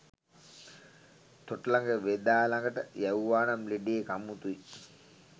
තොටලග වෙදා ලගට යැව්වා නම් ලෙඩේ කම්මුතුයි